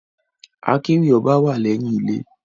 Akéwì ọba wá lẹyìn ilé.